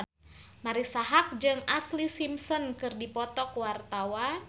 Marisa Haque jeung Ashlee Simpson keur dipoto ku wartawan